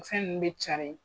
Fɛn nunnu be cari